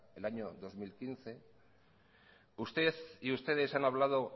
el año dos mil quince usted y ustedes han hablado